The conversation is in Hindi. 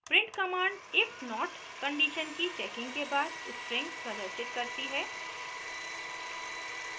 print command if not condition की checking के बाद string प्रदर्शित करती है